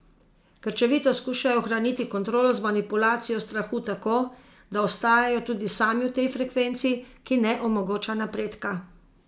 Krčevito skušajo ohraniti kontrolo z manipulacijo strahu tako, da ostajajo tudi sami v tej frekvenci, ki ne omogoča napredka.